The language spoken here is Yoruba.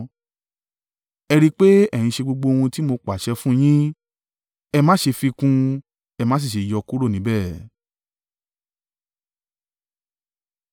Ẹ rí i pé ẹ̀ ń ṣe gbogbo ohun tí mo ti pàṣẹ fún un yín. Ẹ má ṣe fi kún un, ẹ má sì ṣe yọ kúrò níbẹ̀.